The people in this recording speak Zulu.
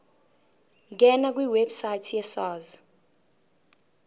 ngena kwiwebsite yesars